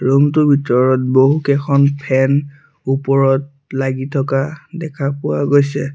Room টোৰ ভিতৰত বহুকেইখন ফেন ওপৰত লাগি থকা দেখা পোৱা গৈছে।